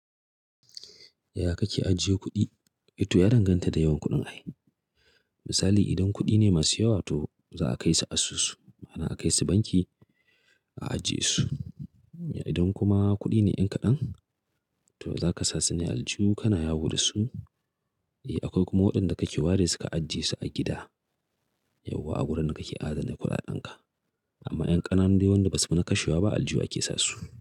Yaya kake ajiye kuɗi? Ito ya danganta da yawan kuɗin ai Misali idan kuɗi ne masu yawa to za a kai su asusu, ma'ana a kai su banki a ajiye su. Idan kuma kuɗi ne ƴan kaɗan to za kasa sune a aljihu kana yawo dasu. Akwai kuma waɗanda kake waresu ka ajiye su a gida, yauwa a gurin da kake adana kuɗaɗen ka. Amma ƴan ƙananu dai waɗanda basufi na kashewa ba a aljihu ake sasu.